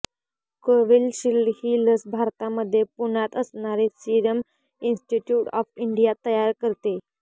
Covishield ही लस भारतामध्ये पुण्यात असणारी सिरम इन्स्टिट्यूट ऑफ इंडिया तयार करतेय